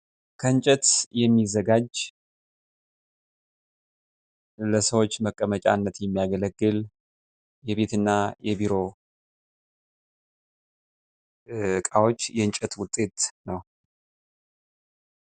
ከእንጨት የሚዘጋጅ ለሰዎች መቀመጫነት የሚያገለግል የቤትና የቢሮ እቃዎች የእንጨት ውጤት ነው።